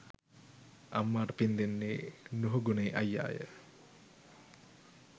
අම්මාට පිං දෙන්නේ නුහුගුණේ අයියාය.